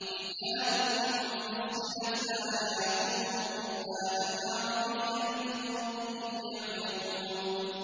كِتَابٌ فُصِّلَتْ آيَاتُهُ قُرْآنًا عَرَبِيًّا لِّقَوْمٍ يَعْلَمُونَ